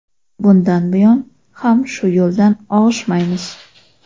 Bundan buyon ham shu yo‘ldan og‘ishmaymiz.